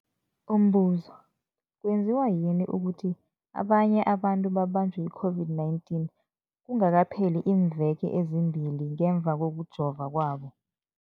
Umbuzo, kwenziwa yini ukuthi abanye abantu babanjwe yi-COVID-19 kungakapheli iimveke ezimbili ngemva kokujova kwabo?